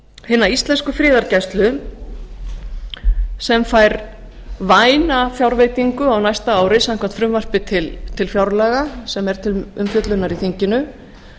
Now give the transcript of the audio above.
hina íslensku friðargæslu sem fær væna fjárveitingu á næsta ári samkvæmt frumvarpi til fjárlaga sem er til umfjöllunar í þinginu